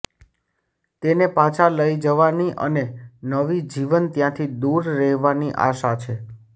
તેને પાછા લઈ જવાની અને નવી જીવન ત્યાંથી દૂર રહેવાની આશા છે